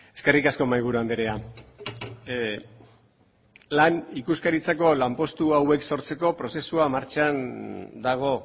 eskerrik asko mahaiburu andrea lan ikuskaritzako lanpostu hauek sortzeko prozesua martxan dago